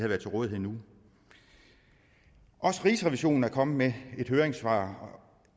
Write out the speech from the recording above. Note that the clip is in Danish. været til rådighed nu også rigsrevisionen er kommet med et høringssvar